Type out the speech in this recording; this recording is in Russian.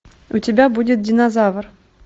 у тебя будет динозавр